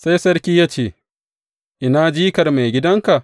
Sai sarki ya ce, Ina jikar maigidanka?